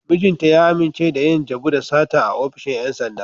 Mijinta ya amince da yin jabu da sata a ofishin ‘yan sanda.